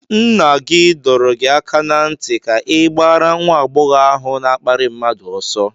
Nna gị dọrọ gị aka ná ntị ka ị gbaara nwa agbọghọ ahụ na-akparị mmadụ oso!